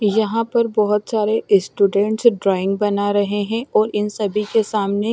यहां पर बहोत सारे ईस्टूडेंट ड्रॉइंग बना रहे हैं और इन सभी के सामने--